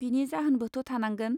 बिनि जाहोनबोथ थानांगोन!.